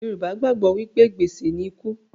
Yorùbá gbàgbọ́ wí pé, gbèsè ni ikú